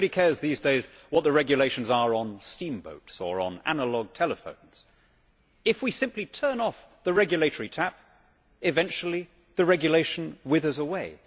Nobody cares these days what the regulations are on steamboats or analogue telephones. If we simply turn off the regulatory tap, eventually the regulation withers away.